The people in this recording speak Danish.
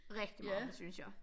Rigtig meget synes jeg